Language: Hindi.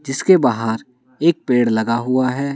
जिसके बाहर एक पेड़ लगा हुआ है।